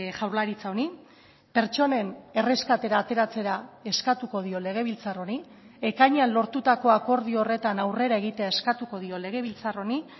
jaurlaritza honi pertsonen erreskatera ateratzera eskatuko dio legebiltzar honi ekainean lortutako akordio horretan aurrera egitea eskatuko dio legebiltzar honi